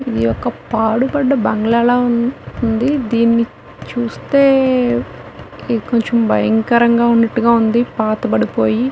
ఇది ఒక్క పాడుబడ్డ బంగళా లా ఉందిదీని చూస్తే కొంచం భయంకరంగా ఉన్నటుగా ఉంది పాతబడిపోయి